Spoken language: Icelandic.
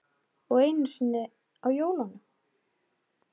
Og einu sinni á jólunum.